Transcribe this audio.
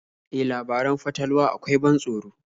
E, labaran fatalwa akwai ban tsoro.